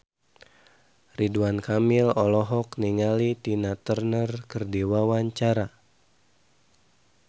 Ridwan Kamil olohok ningali Tina Turner keur diwawancara